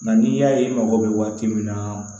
Nka n'i y'a ye i mago bɛ waati min na